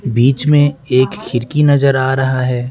बीच में एक खिड़की नजर आ रहा है।